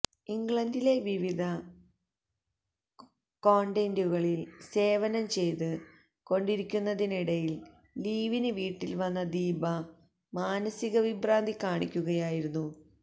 ഇംഗ്ലണ്ടിലെ വിവിധ കോണ്വെന്റുകളില് സേവനം ചെയ്ത് കൊണ്ടിരിക്കുന്നതിനിടയില് ലീവിന് വീട്ടില് വന്ന ദീപ മാനസിക വിഭ്രാന്തി കാണിക്കുകയായിരുന്നു